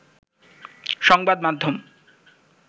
সংবাদ মাধ্যম